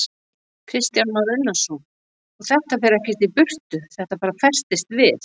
Kristján Már Unnarsson: Og þetta fer ekkert í burtu, þetta bara festist við?